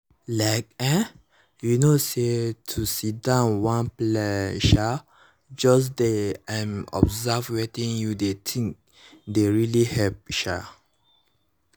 like[um]you know say to sidon one place um just dey um observe wetin you dey think dey really help um